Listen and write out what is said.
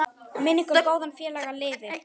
Minning um góðan félaga lifir.